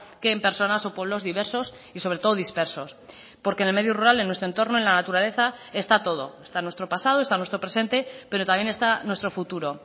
que en personas o pueblos diversos y sobre todo dispersos porque en el medio rural en nuestro entorno en la naturaleza está todo está nuestro pasado está nuestro presente pero también está nuestro futuro